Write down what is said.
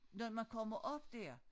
Når man kommer op dér